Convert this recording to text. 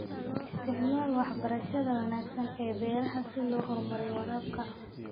Isticmaal waxbarashada wanaagsan ee beeraha si loo horumariyo waraabka.